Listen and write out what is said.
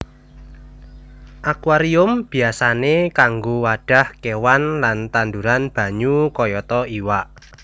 Akuarium biyasané kanggo wadhah kéwan lan tanduran banyu kayata iwak